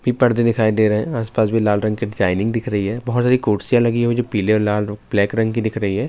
big پردے دکھایی دے رہے ہیں، اس پاس لال رنگ کے ڈیزائن دکھایی دے رہے ہیں، بہت زیادہ کرسیاں لگی ہی ہیں جو لال اور پلے رنگ کی دیکھ رہی ہے-